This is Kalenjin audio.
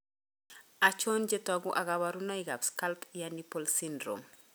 Achon chetogu ak kaborunoik ab Scalp ear nipple syndrome?